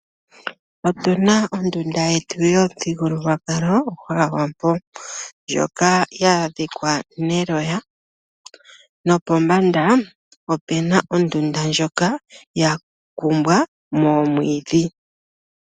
Otu na ondunda yetu yomuthigululwakalo gwAawambo. Ndjoka ya dhikwa neloya, nopombanda ope na ondunda ndjoka ya kumbwa moomwiidhi.